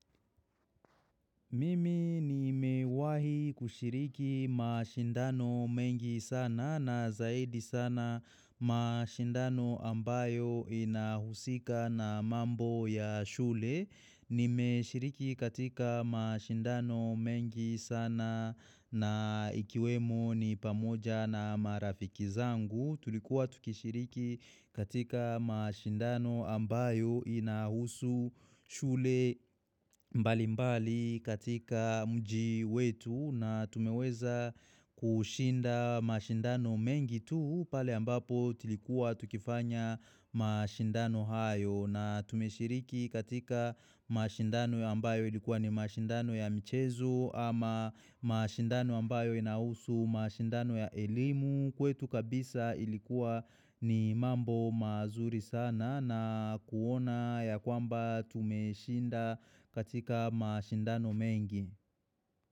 Mimi nimewahi kushiriki mashindano mengi sana na zaidi sana mashindano ambayo inahusika na mambo ya shule. Nimeshiriki katika mashindano mengi sana na ikiwemo ni pamoja na marafiki zangu. Tulikuwa tukishiriki katika mashindano ambayo inahusu shule mbali mbali katika mji wetu na tumeweza kushinda mashindano mengi tu pale ambapo tulikuwa tukifanya mashindano hayo natume shiriki katika mashindano ambayo ilikuwa ni mashindano ya michezo ama mashindano ambayo inahusu mashindano ya elimu kwetu kabisa ilikuwa ni mambo mazuri sana na kuona ya kwamba tumeshinda katika mashindano mengi.